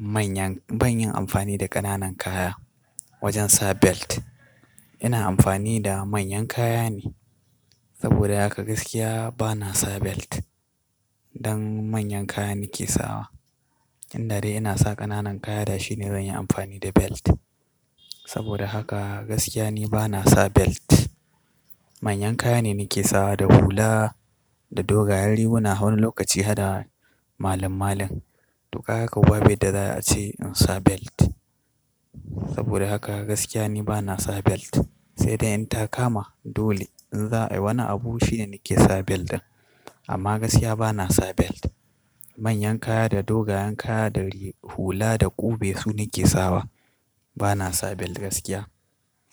manyan, ban yin amfani da ƙananan kaya wajen sa belt. Ina amfani da manyan kaya ne. Saboda haka gaskiya bana sa belt. Don manyan kaya nake sawa. Inda dai ina sa ƙananan kaya, da shi ne zan yi amfani da belt. Saboda haka gaskiya ni bana sa belt. Manyan kaya ne nake sawa, da hula, da dogayen riguna, wani lokaci hadɗa malam-malam. Duk haka babu abin da za a ce in sa belt. Saboda haka gaskiya ni bana sa belt. Sai da in ta kama dole in za ayi wani abu shine nake sa belt ɗin. Amma gaskiya bana sa belt. Manyan kaya da dogayen kaya da hula da ƙube su nake sawa. Bana sa belt gaskiya.